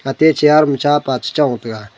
ate chair ma cha pa chechong tega.